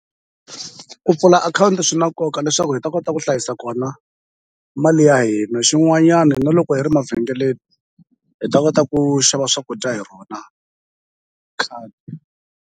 Ku pfula akhawunti swi na nkoka leswaku hi ta kota ku hlayisa kona mali ya hina xin'wanyani na loko hi ri mavhengeleni hi ta kota ku xava swakudya hi rona .